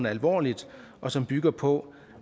alvorligt og som bygger på